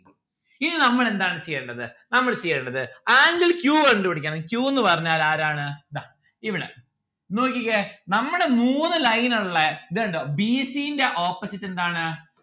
ഇനി നമ്മൾ എന്താണ് ചെയ്യേണ്ടത്? നമ്മൾ ചെയ്യേണ്ടത് angle q കണ്ടു പിടിക്കണം q ന്ന്‌ പറഞ്ഞാൽ ആരാണ്? ദാ ഇവിടെ നോക്കിക്കേ നമ്മളെ മൂന്ന് line ഉള്ളേ ഇത് കണ്ടോ bc ന്റെ opposite എന്താണ്?